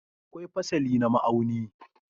Akwai fasali na ma'auni.